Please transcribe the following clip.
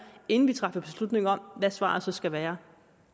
inden vi træffer beslutning om hvad svaret så skal være